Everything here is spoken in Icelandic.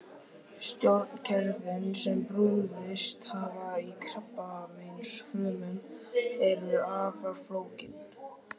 Stjórnkerfin sem brugðist hafa í krabbameinsfrumum eru afar flókin.